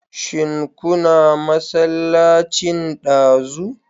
Shin kuna masallacin ɗazu?